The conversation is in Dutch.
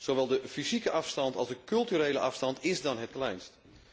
Zowel de fysieke afstand als de culturele afstand is dan het kleinst.